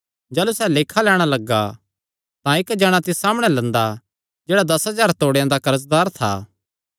जाह़लू सैह़ लेखा लैणां लग्गा तां इक्क जणा तिस सामणै लंदा जेह्ड़ा दस हज़ार तोड़ेयां दा कर्जदार था